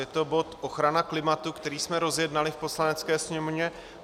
Je to bod ochrana klimatu, který jsme rozjednali v Poslanecké sněmovně.